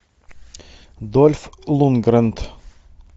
дольф лундгрен